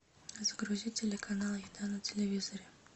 загрузи телеканал еда на телевизоре